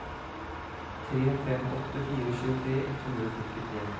tre fem åtte fire tjuetre ett hundre og førtitre